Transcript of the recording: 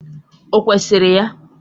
Ọ kwesịrị ya?